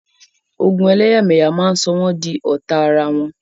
Ogun ẹlẹ́yàmẹyà máa sọ àwọn di ọ̀tá ara wọn.